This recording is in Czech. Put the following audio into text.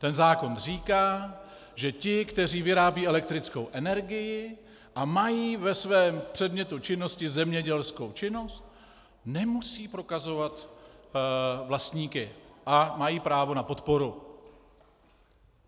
Ten zákon říká, že ti, kteří vyrábí elektrickou energii a mají ve svém předmětu činnosti zemědělskou činnost, nemusí prokazovat vlastníky a mají právo na podporu.